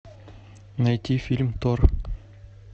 найти фильм тор